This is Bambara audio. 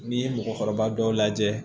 N'i ye mɔgɔkɔrɔba dɔw lajɛ